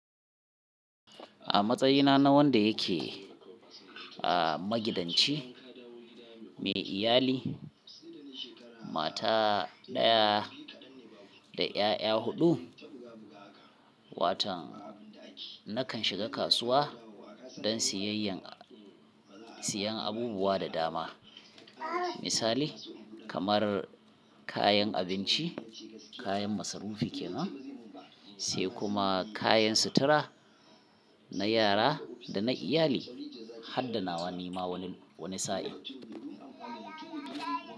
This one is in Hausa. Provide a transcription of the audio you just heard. A matsayina na wanda yake, ah, magidanci, mai iyali, mata ɗaya da ƴaƴa huɗu, watan nakan shiga kasuwa don siyayyan, siyan abubuwa da dama. Misali kamar kayan abinci, kayan masarufi kenana, sai kuma kayan sutura na yara da na iyali har da nawa ni ma wani, wani sa'in.